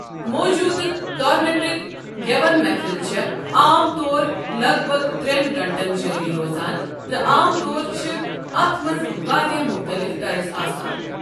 موٗجوٗدٕ کارنیٚٹِک گیٮ۪وَن محفِل چھےٚ عام طور لگ بگ ترٛیٚن گٲنٛٹن جٲری روزان، تہٕ عام طور چھِ اَتھ منٛز وارِیاہ مُختٔلِف ترز آسان ۔